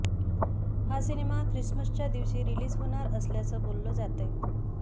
हा सिनेमा ख्रिसमसच्या दिवशी रिलीज होणार असल्याचं बोललं जातंय